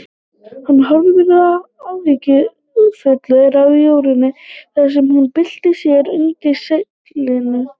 Hann horfði áhyggjufullur á Jórunni þar sem hún bylti sér undir seglinu.